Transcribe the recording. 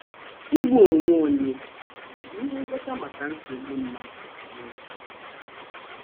Igbu onwe onye ọ̀ bụ ihe ngwọta maka nsogbu mmadụ n’ezie?